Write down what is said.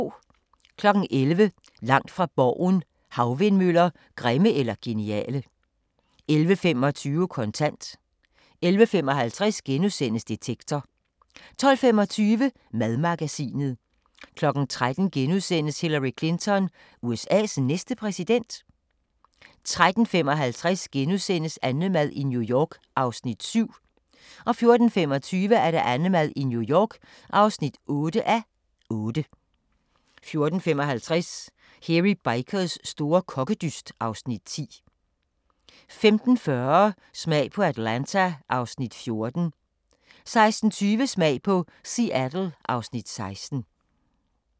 11:00: Langt fra Borgen: Havvindmøller – grimme eller geniale? 11:25: Kontant 11:55: Detektor * 12:25: Madmagasinet 13:00: Hillary Clinton – USA's næste præsident? * 13:55: AnneMad i New York (7:8)* 14:25: AnneMad i New York (8:8) 14:55: Hairy Bikers store kokkedyst (Afs. 10) 15:40: Smag på Atlanta (Afs. 14) 16:20: Smag på Seattle (Afs. 16)